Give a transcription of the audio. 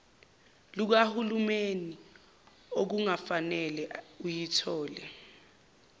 lukahulumeni okungafanele uyithole